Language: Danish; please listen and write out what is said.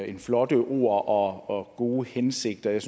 end flotte ord og gode hensigter jeg